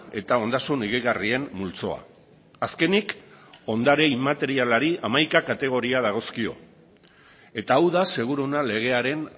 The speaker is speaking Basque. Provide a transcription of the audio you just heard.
eta ondasun higigarrien multzoa azkenik ondare inmaterialari hamaika kategoria dagozkio eta hau da seguruena legearen